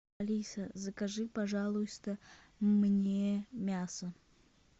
алиса закажи пожалуйста мне мясо